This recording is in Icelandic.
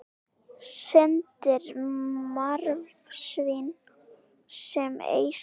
Syndir marsvín sem ei hrín.